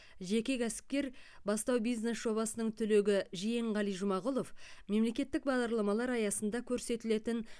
жеке кәсіпкер бастау бизнес жобасының түлегі жиенғали жұмағұлов мемлекеттік бағдарламалар аясында көрсетілетін